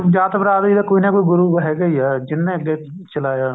ਜਾਤ ਬਰਾਦਰੀ ਦਾ ਕੋਈ ਨਾ ਕੋਈ ਗੁਰੂ ਹੈਗਾ ਹੀ ਹੈ ਜਿਨ੍ਹੇ ਅੱਗੇ ਚਲਾਇਆ